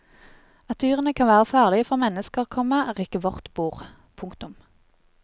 At dyrene kan være farlige for mennesker, komma er ikke vårt bord. punktum